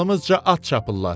Dalımızca at çapırlar.